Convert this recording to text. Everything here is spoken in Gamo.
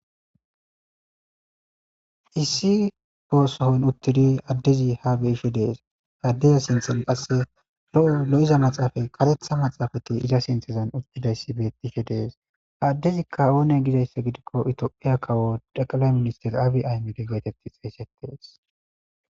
Issi boossohon uttidi addezi ha beisho dees aaddeza sinthen qasse lo'o lo'iza maxaafay karetha maxaafati iza sinthezan uttidayssi bettihe dees ha addezikka oone gidayssa gidikko ito'iya kawo daqalay minister abi aymede geetetti xeeyssetees.